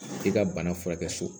I ka bana furakɛ so